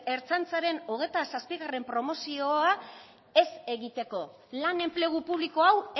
ertzaintzaren hogeita zazpi promozioa ez egiteko lan enplegu publiko hau